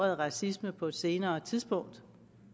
ordet racisme på et senere tidspunkt